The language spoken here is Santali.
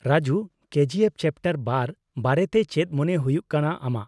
ᱨᱟᱡᱩ, ᱠᱮᱡᱤ ᱮᱯᱷ ᱪᱮᱯᱴᱟᱨ ᱒ ᱵᱟᱨᱮᱛᱮ ᱪᱮᱫ ᱢᱚᱱᱮ ᱦᱩᱭᱩᱜ ᱠᱟᱱᱟ ᱟᱢᱟᱜ ?